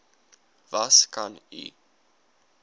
was kan u